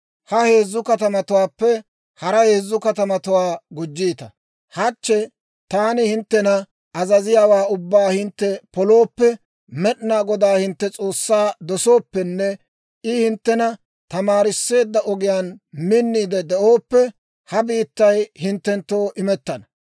ha heezzu katamatuwaappe hara heezzu katamatuwaa gujjiita. Hachche taani hinttena azaziyaawaa ubbaa hintte polooppe, Med'inaa Godaa hintte S'oossaa dosooppenne I hinttena tamaarisseedda ogiyaan minniide de'ooppe, ha biittay hinttenttoo imettana.